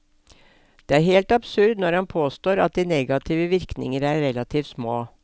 Det er helt absurd når han påstår at de negative virkninger er relativt små.